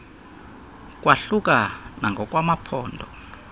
kwahluka nangokwa maphondo